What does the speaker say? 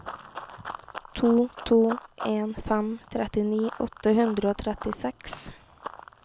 to to en fem trettini åtte hundre og trettiseks